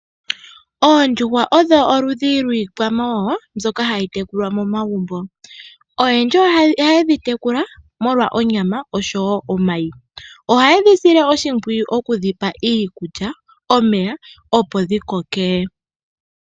Oondjuhwa odho oludhi lwiikwamawawa mbyoka hayi tekulwa momagumbo. Oyendji ohayedhi tekula molwa onyama Oshowo omayi. Ohayedhi sile oshimpwiyu moku dhi pa iikulya ,omeya opo dhikoke.